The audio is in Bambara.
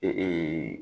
Ee